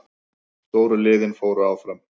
Stóru liðin fóru áfram